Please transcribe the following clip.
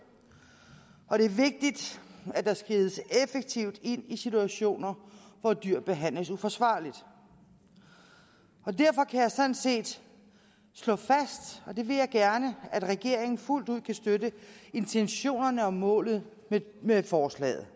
og det er vigtigt at der skrides effektivt ind i situationer hvor dyr behandles uforsvarligt derfor kan jeg sådan set slå fast og det vil jeg gerne at regeringen fuldt ud kan støtte intentionerne og målet med forslaget